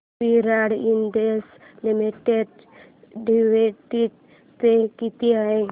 विराट industries limited dividend pay किती आहे